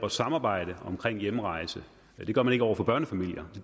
at samarbejde omkring hjemrejse det gør man ikke over for børnefamilier